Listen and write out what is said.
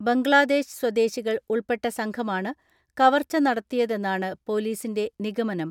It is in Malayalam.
ബംഗ്ലാദേശ് സ്വദേശികൾ ഉൾപ്പെട്ട സംഘമാണ് കവർച്ച നട ത്തിയതെന്നാണ് പൊലീസിന്റെ നിഗമനം.